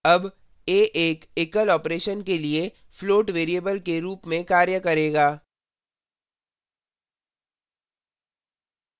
अब a एक एकलoperation के लिए float variable के रूप में कार्य करेगा